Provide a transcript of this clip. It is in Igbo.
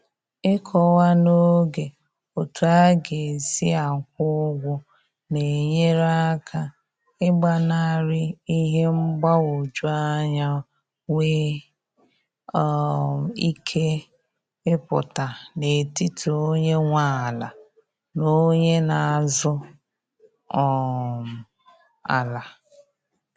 Ịkọwa n'oge otu a ga-esi akwụ ụgwọ na-enyere aka ị gbanarị ihe mgbagwoju anya nwe um ike ịpụta n'etiti onye nwe ala na onye na azụ um ala